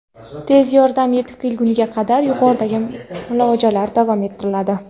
Tez yordam yetib kelgunga qadar yuqoridagi muolajalar davom ettiriladi.